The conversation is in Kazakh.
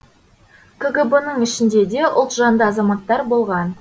кгб ның ішінде де ұлтжанды азаматтар болған